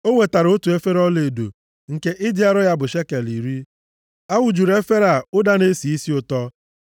O wetara otu efere ọlaedo, nke ịdị arọ ya bụ shekel iri. A wụjuru efere a ụda na-esi isi ụtọ.